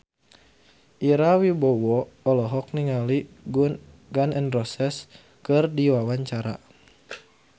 Ira Wibowo olohok ningali Gun N Roses keur diwawancara